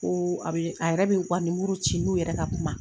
Ko a be a yɛrɛ bi u ka ci n'u yɛrɛ ka kuma.